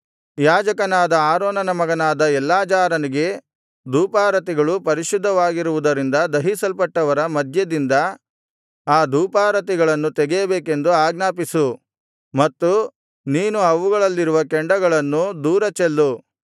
ಯಾಜಕನಾದ ಆರೋನನ ಮಗನಾದ ಎಲ್ಲಾಜಾರನಿಗೆ ಧೂಪಾರತಿಗಳು ಪರಿಶುದ್ಧವಾಗಿರುವುದರಿಂದ ದಹಿಸಲ್ಪಟ್ಟವರ ಮಧ್ಯದಿಂದ ಆ ಧೂಪಾರತಿಗಳನ್ನು ತೆಗೆಯಬೇಕೆಂದು ಆಜ್ಞಾಪಿಸು ಮತ್ತು ನೀನು ಅವುಗಳಲ್ಲಿರುವ ಕೆಂಡಗಳನ್ನು ದೂರ ಚೆಲ್ಲು